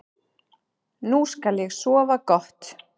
Nú skal ég sofa gott.